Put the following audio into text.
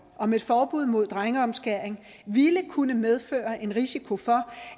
om et forbud mod drengeomskæring ville kunne medføre en risiko for